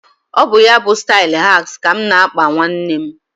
Ọ bụ, ya bụ stailu shags ka mụ na – akpa nwanne m